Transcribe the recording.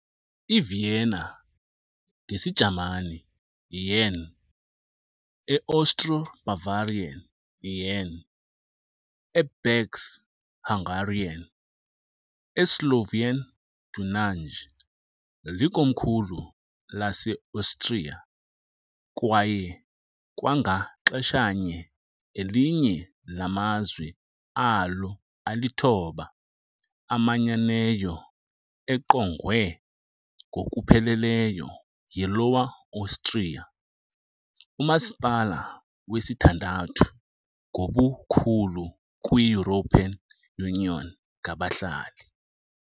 IVienna, ngesiJamani "Wien", e Austro- Bavarian "Wean", e "Bécs" Hungarian, e Slovenian "Dunaj", likomkhulu laseAustria kwaye kwangaxeshanye elinye lamazwe alo alithoba amanyeneyo, engqongwe ngokupheleleyo yiLower Austria, umasipala wesithandathu ngobukhulu kwi -European Union ngabahlali.